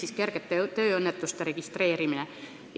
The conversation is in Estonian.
Ehk kergeid tööõnnetusi ei pea enam registreerima.